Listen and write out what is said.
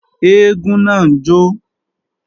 Eégún náà ń jó